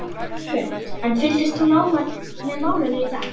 Hrund: En þú fylgdist nánar með málinu í dag?